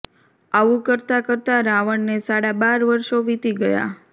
આવું કરતાં કરતાં રાવણને સાડા બાર વર્ષો વીતી ગયાં